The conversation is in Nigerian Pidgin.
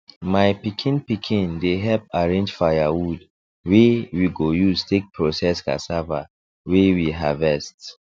my pikin pikin dey help arrange firewood wey we go use take process cassava wey we harvest